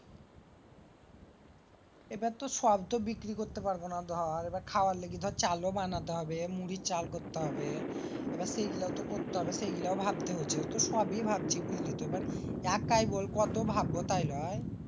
এবার তো সব বিক্রি করতে পারবোনা দর। এবার খাওয়ার লাইজ্ঞে চাউল ও বানাতে হবে দর। মুড়ির চাল করতে হবে। এবার সেই গিলাও তো করতে হবে। সেইগিলা ও ভাবতে হচ্ছে। তা সবই ভাবছি বুঝলিতো? একা আর কত ভাববো বল?